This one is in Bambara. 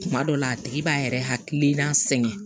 Kuma dɔ la a tigi b'a yɛrɛ hakilina sɛgɛn